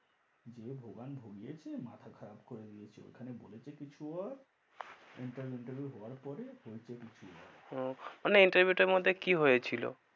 যে ভোগান ভোগিয়েছে, মাথা খারাপ করে দিয়েছে। ওখানে বলেছে কিছু আর interview. nterview হওয়ার পরে হয়েছে কিছু আর। ওহ, মানে, interview টার মধ্যে কি হয়েছিল?